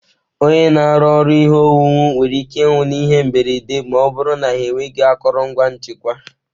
Onye na-arụ ọrụ ihe owuwu nwere ike ịnwụ n'ihe mberede ma ọ bụrụ na ha enweghị akụrụngwa nchekwa.